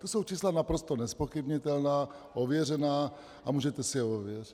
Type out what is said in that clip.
To jsou čísla naprosto nezpochybnitelná, ověřená a můžete si je ověřit.